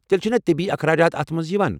تیٚلہِ چھِنا طبی اخراجات اتھ منٛز یوان ؟